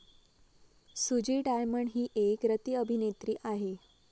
सुजी डायमंड ही एक रतिअभिनेत्री आहे